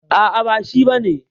A'a, ba shi ba ne.